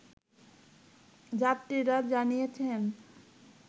যাত্রীরা জানিয়েছেন